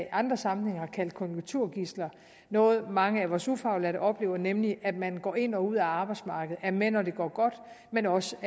i andre sammenhænge har kaldt konjunkturgidsler noget mange af vores ufaglærte oplever er nemlig at man går ind og ud af arbejdsmarkedet er med når det går godt men også